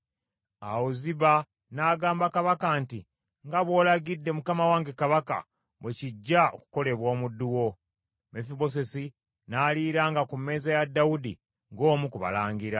Awo Ziba n’agamba kabaka nti, “Nga bw’olagidde mukama wange kabaka, bwe kijja okukolebwa omuddu wo.” Mefibosesi n’aliiranga ku mmeeza ya Dawudi ng’omu ku balangira.